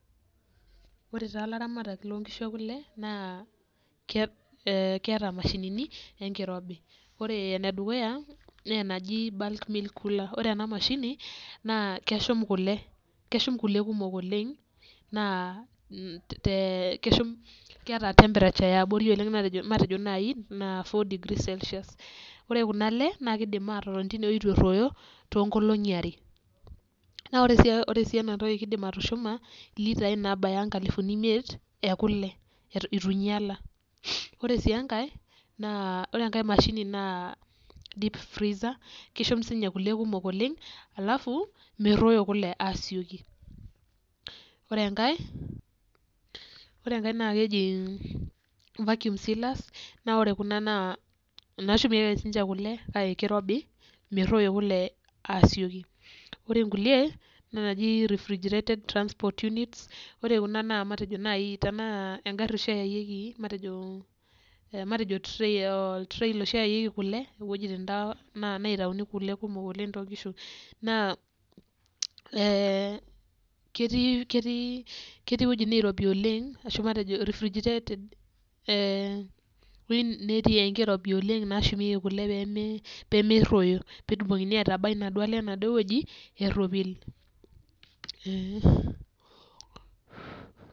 Ore taa ilaramatak loonkishu ekule naa keeta imashinini ee enkirobi, ore ene dukuya naa enaji bulk milk cooler ore ena mashini naa keshu kule kumok oleng',naa keeta temperature yaabori oleng' matejo naai degree celsius. Ore kuna le naa kiidim atotoni tene woji eitu erroyo toonkolongi are, naa ore sii ena toki kiidim atushuma ilitai, naabaya inkalifuni imiet ekule eitu inyiala. Ore sii enkae, ore enkae mashini naa deep freezer keshum sininye kule kumok oleng' alafu meruoyo kule asioki. Ore enkare naakeji vacuum sealers naa ore kuna naa inaashumeiki ake sininje kule kake kirobi meruoyo kule asioki. Ore inkulie naa inaji refrigerated transport unit. Ore kuna matejo tenaa engari oshi eyayuoki matejo oltiriel oshi oyayuoki kule, towojitani taa neitayunyieki kule kumok toonkishu naa kitii iwojitin nirobi oshi oleng' matejo refrigerated ee netii enkirobi nashumeiki kule peemeruoyo peetumoki aitabai kule enaduo woji eropik.